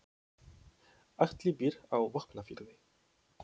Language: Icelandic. Atli býr á Vopnafirði.